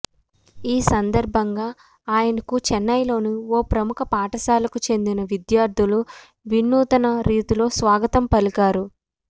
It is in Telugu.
ఈ సందర్భంగా ఆయనకు చైన్నైలోని ఓ ప్రముఖ పాఠశాలకు చెందిన విద్యార్ధులు వినూత్న రీతిలో స్వాగతం పలికారు